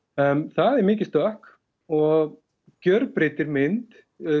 það er mikið stökk og gjörbreytir mynd